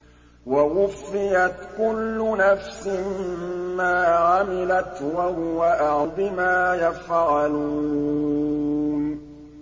وَوُفِّيَتْ كُلُّ نَفْسٍ مَّا عَمِلَتْ وَهُوَ أَعْلَمُ بِمَا يَفْعَلُونَ